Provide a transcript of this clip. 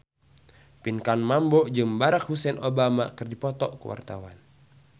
Pinkan Mambo jeung Barack Hussein Obama keur dipoto ku wartawan